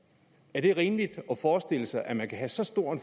er det rimeligt at forestille sig at man kan have så stor